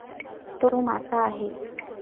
तो मासा आहे.